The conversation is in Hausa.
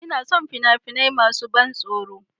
Ina son fina-finai masu ban tsoro